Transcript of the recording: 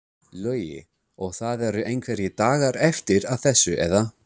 Logi: Og það eru einhverjir dagar eftir að þessu eða?